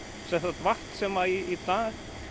vatn sem í dag